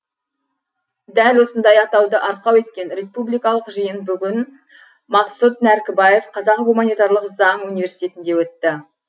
дәл осындай атауды арқау еткен республикалық жиын бүгін мақсұт нәркібаев қазақ гуманитарлық заң университетінде өтті